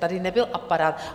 Tady nebyl aparát.